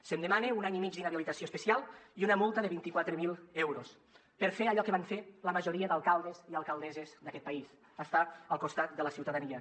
se’m demana un any i mig d’inhabilitació especial i una multa de vint quatre mil euros per fer allò que van fer la majoria d’alcaldes i alcaldesses d’aquest país estar al costat de la ciutadania